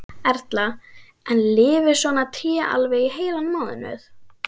Erla: En lifir svona tré alveg í heilan mánuð?